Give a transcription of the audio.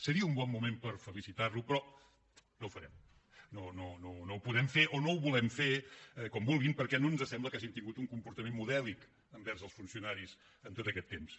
seria un bon moment per felicitar lo però no ho farem no ho podem fer o no ho volem fer com vulguin perquè no ens sembla que hagin tingut un comportament modèlic envers els funcionaris en tot aquest temps